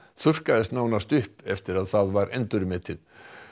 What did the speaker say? þurrkaðist nánast upp eftir að það var endurmetið